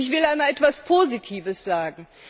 Und ich will einmal etwas Positives sagen.